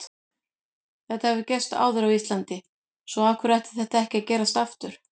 Þetta hefur gerst áður á Íslandi svo af hverju ætti þetta ekki að gerast aftur?